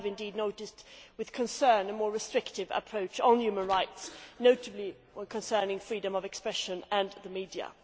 We have indeed noticed with concern a more restrictive approach on human rights, notably concerning freedom of expression and the media.